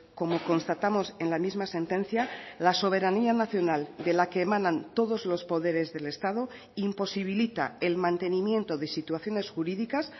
como constatamos en la misma sentencia la soberanía nacional de la que emanan todos los poderes del estado imposibilita el mantenimiento de situaciones jurídicas